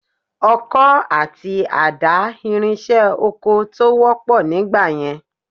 Ọkọ àti àdá ìrinṣẹ́ oko tó wọ́pọ̀ nígbà yẹn